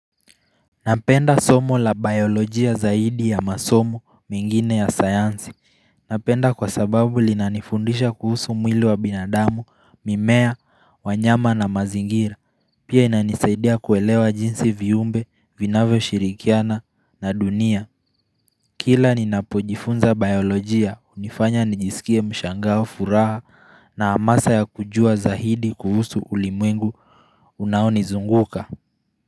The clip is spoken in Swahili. Napenda somo la biolojia zaidi ya masomo mengine ya sayansi Napenda kwa sababu linanifundisha kuhusu mwili wa binadamu, mimea, wanyama na mazingira Pia inanisaidia kuelewa jinsi viumbe, vinavyo shirikiana na dunia Kila ninapojifunza biolojia, unifanya nijisikie mshangaa furaha na amasa ya kujua zaidi kuhusu ulimwengu unaoni zunguka.